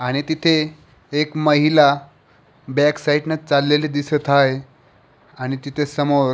आणि तिथे एक महिला बॅक साईड ला चाललेली दिसत आहे आणि तिथे समोर --